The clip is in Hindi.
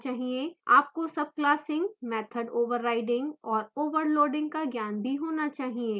आपको subclassing method overriding और overloading का ज्ञान भी होना चाहिए